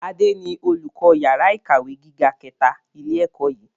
Adé ni olùkọ́ yàrá ìkàwé gíga kẹta ilé ẹ̀kọ́ yìí.